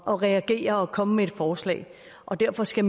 at reagere og komme med et forslag derfor skal